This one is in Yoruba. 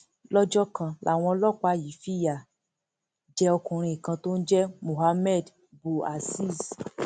lọjọ kan làwọn ọlọpàá yìí fìyà jẹ ọkùnrin kan tó ń jẹ mohammed bouaziz